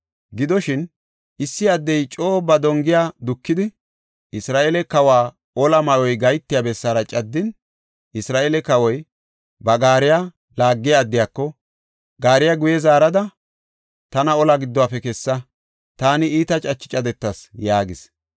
Gidoshin, issi addey coo ba dongiya bolla dukidi, Isra7eele kawa olaa ma7oy gahetiya bessaara caddin, Isra7eele kawoy ba gaariya laagiya addiyako, “Gaariya guye zaarada, tana olaa giddofe kessa; taani iita cache cadetas” yaagis.